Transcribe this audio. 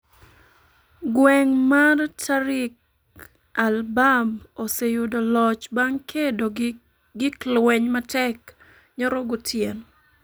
gweng mar Tariq al-Bab oseyudo loch bang’ kedo gi gik lweny matek nyoro gotieno